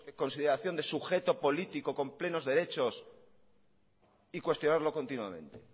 consideración de sujeto político con plenos derechos y cuestionarlo continuamente